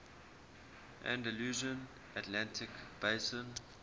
andalusian atlantic basin